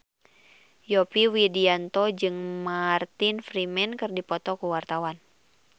Yovie Widianto jeung Martin Freeman keur dipoto ku wartawan